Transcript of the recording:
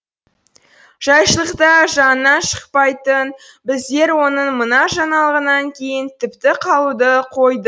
жайшылықта жанынан шықпайтын біздер оның мына жаңалығынан кейін тіпті қалуды қойдық